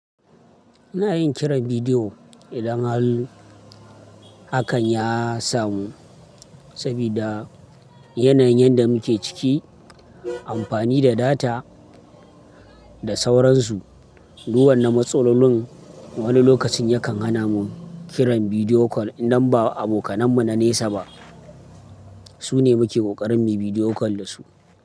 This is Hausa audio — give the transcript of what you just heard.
Ina yin kiran bidiyo idan hal hakan ya samu. Sabida yanayin yanda muke ciki amfani da data da sauransu. Duk wanna matsalolin wani lokacin yakan hana mu kiran bidiyo call idan ba abokanan mu na nesa ba. Su ne muke kokarin muyi bidiyo call da su.